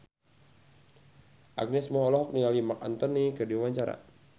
Agnes Mo olohok ningali Marc Anthony keur diwawancara